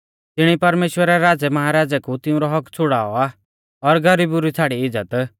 तिणी परमेश्‍वरै राज़ैमहाराज़ै कु तिउंरौ हक्क्क छ़ुड़ाऔ आ और गरीबु री छ़ाड़ी इज़्ज़त